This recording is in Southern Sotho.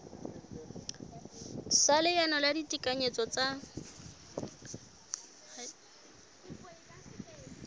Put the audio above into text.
sa leano la ditekanyetso tsa